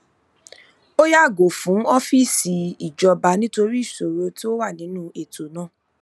ó yàgò fún ọfíìsì ìjọba nítorí ìṣòro tó wà nínú ètò náà